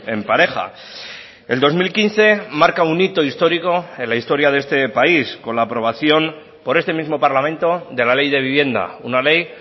en pareja el dos mil quince marca un hito histórico en la historia de este país con la aprobación por este mismo parlamento de la ley de vivienda una ley